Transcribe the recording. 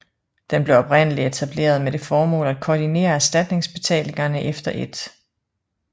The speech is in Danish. Den blev oprindeligt etableret med det formål at koordinere erstatningsbetalingerne efter 1